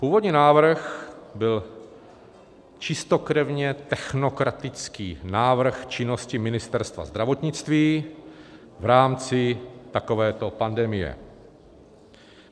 Původní návrh byl čistokrevně technokratický návrh činnosti Ministerstva zdravotnictví v rámci takovéto pandemie.